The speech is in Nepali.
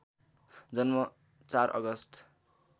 जन्म ४ अगस्ट